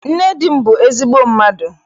Nne di m bụ ezigbo mmadụ.